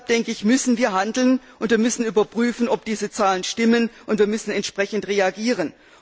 Deshalb müssen wir handeln, wir müssen überprüfen, ob diese Zahlen stimmen, und wir müssen entsprechend reagieren.